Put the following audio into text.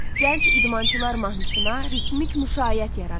Gənc idmançılar mahnısına ritmik müşayiət yaradın.